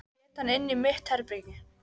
Ég set hann inní mitt herbergi.